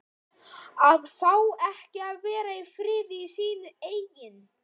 AÐ FÁ EKKI AÐ VERA Í FRIÐI Í SÍNU EIGIN